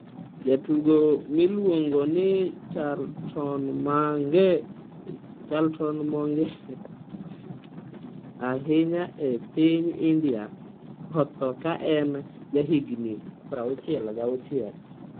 Jatugo miluongo ni Charltonmong'ere ahinya e piny India, otho ka en jahigni 66.